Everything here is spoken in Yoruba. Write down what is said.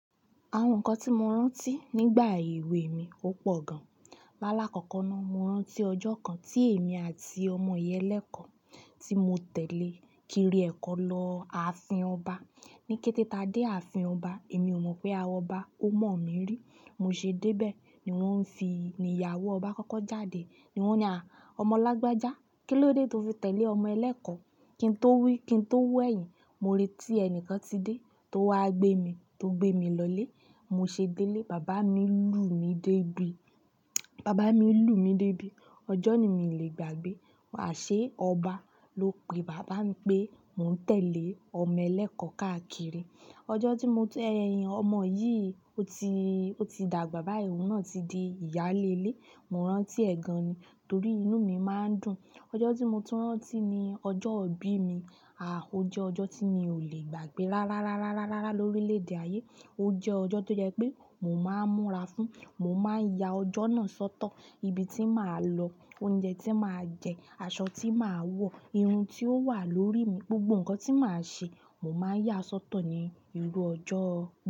Àwọn nǹkan tí mo rántí nígbà èwe mi, ó pò gan. Lálá koko náà mo rántí ọjọ́ kan tí èmi àti ọmọ ìyá ẹlẹ́kọ̀ọ́. Tí mo tẹ̀lé kiri ẹ̀kọ́ lọ aafín ọba. Ni kété tá dé aafin ọba, èmi ò mọ̀ pé àwọn ọba, ó mọ̀ mí rí. Mo ṣe débẹ̀. Ni won fii-- ni ìyàwó oba kọkọ jáde. Ni wọ́n ni, "àh, ọmọ lágbájá, kílódé tó fi tẹ̀lé ọmọ ẹlẹ́kọ̀?" kí n tó wí, kí n tó wo ẹ́yin, mo rí tí ẹnìkan ti dé tó wá gbé mi, tó gbé mi lọlé. Mo ṣe délé, bàbá mi lù mí débí. Bàbá mi lù mí débí. Ojo náà mi ole gbagbe. Aṣé ọba ló pe bàbá mi pé mò ń tẹ̀lé ọmọ ẹlẹ́kọ̀ káàkiri. Ọjọ́ tí mo tẹ́ ẹyin ọmọ yìí, ó ti, ó ti dàgbà báyìí, òun náà ti di ìyá lé ilé. Mo rántí ẹ̀ gan ni torí inú mi máa ń dùn. Ọjọ́ tí mo tun rántí ni ọjọ́ ìbí mi. Ó jẹ́ ọjọ́ tí mi ò lè gbàgbé rárárárárárárá lórílẹ̀ èdè ayé. Ó jẹ́ ọjọ́ tó jẹ́ pé mo máa ń múra fún, mo máa ń ya ọjọ́ náà sọ́tọ̀. Ibi tí màá lọ, oúnjẹ tí màá jẹ, aṣọ tí màá wọ̀, irun tí ó wà lórí mi, gbogbo nǹkan tí màá ṣe, mò máa ń yà á sọ́tọ̀ ní irú ọjọ́